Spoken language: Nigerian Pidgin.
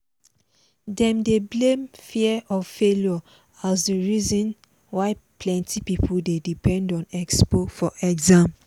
dem dey blame fear of failure as the reason why plenty people dey depend on expo for exam.